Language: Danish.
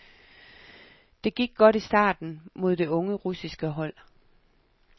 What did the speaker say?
Det gik godt i starten mod det unge russiske hold.